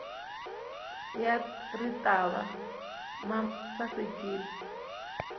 ya ritavi ma sasekile